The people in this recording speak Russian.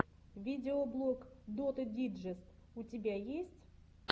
видеоблог доты диджест у тебя есть